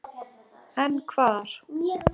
En hvar?